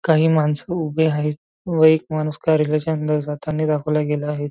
काही मानस उभी आहेत व एक माणूस कार्यालयाच्या अंदर जाताना दाखवला गेला आहे.